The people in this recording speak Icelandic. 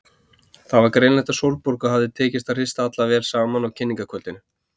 Það var greinilegt að Sólborgu hafði tekist að hrista alla vel saman á kynningarkvöldinu.